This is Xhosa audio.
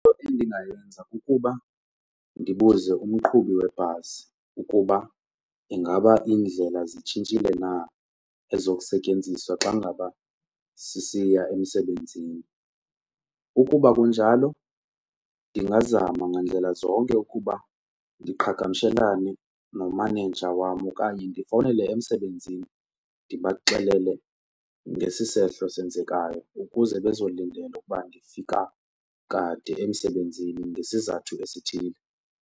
Into endingayenza kukuba ndibuze kumqhubi webhasi ukuba ingaba iindlela zitshintshile na ezokusetyenziswa xa ngaba sisiya emsebenzini, ukuba kunjalo ndingazama ngandlela zonke ukuba ndiqhagamshelane nomaneja wam okanye ndifowunele emsebenzini ndibaxelele ngesi sehlo senzekayo ukuze bezolindela ukuba ndifika kade emsebenzini ngesizathu esithile.